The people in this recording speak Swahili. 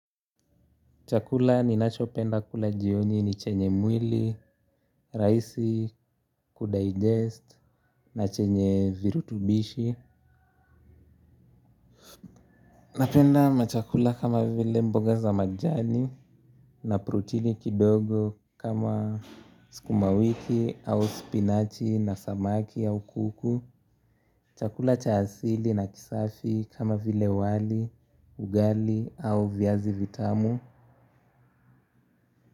Chakula ninachopenda kula jioni ni chenye mwili, rahisi kudigest na chenye virutubishi. Napenda machakula kama vile mboga za majani na protini kidogo kama sukumawiki au spinachi na samaki au kuku. Chakula cha asili na kisafi kama vile wali, ugali au viazi vitamu.